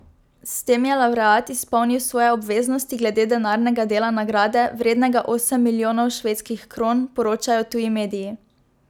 S tem je lavreat izpolnil svoje obveznosti glede denarnega dela nagrade, vrednega osem milijonov švedskih kron, poročajo tuji mediji.